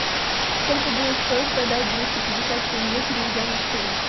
сколько будет стоить продать двести пятьдесят тенге переведя на шиллинг